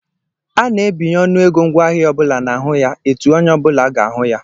A na-ebinye ọnụego ngwaahịa ọ bụla n'ahụ ya etu onye ọ bụla ga-ahụ ya